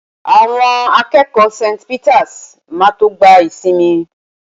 Àwọn akẹ́kọ̀ọ́ St. Peters máa tó gba ìsinmi.